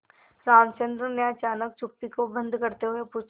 रामचंद्र ने अचानक चुप्पी को भंग करते हुए पूछा